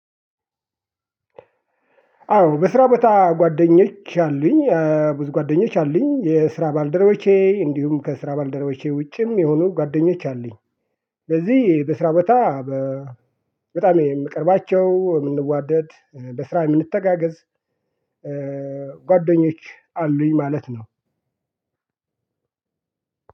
አዎ በስራ በታ ጓደኞቼ አሉኝ። ብዙ ጓደኞቼ አሉኝ። የስራ ባልደረቦቼ፣ እንዲሁም ከስራ ባልደረቦቼ ውጪም የሆኑ ጓደኞች አሉኝ። ስለዚህ በስራ በ በጣም የምቀርባቸው፣ የምንዋደድ፣ በስራ የምንተጋገዝ ጓደኞች አሉኝ ማለት ነው።